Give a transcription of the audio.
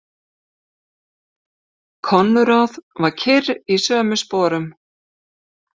Konráð var kyrr í sömu sporum.